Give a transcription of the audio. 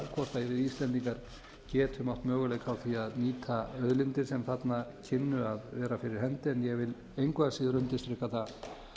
hvort við íslendingar getum átt möguleika á því að nýta auðlindir sem þarna kynnu að vera fyrir hendi en ég vil engu að síður undirstrika það